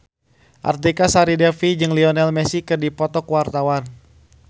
Artika Sari Devi jeung Lionel Messi keur dipoto ku wartawan